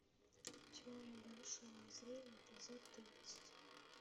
теория большого взрыва эпизод тридцать